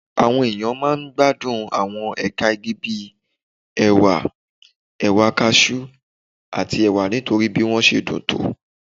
Àwọn èèyàn máa ń gbádùn àwọn ẹ̀ka igi bí ẹ̀wà, ẹ̀wà cashew, àti ẹ̀wà nítorí bí wọ́n ṣe dùn tó